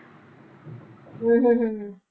ਹਮ ਹਮ ਹਮ